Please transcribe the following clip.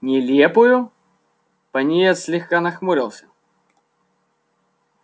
нелепую пониетс слегка нахмурился